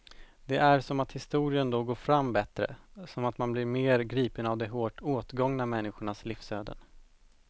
Det är som att historien då går fram bättre, som att man blir mer gripen av de hårt åtgångna människornas livsöden.